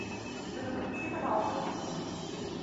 салют отключи пожалуйста этот будильник